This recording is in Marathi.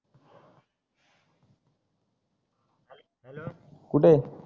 कुठे आहे